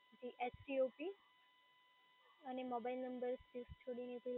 જી અને mobile number space છોડીને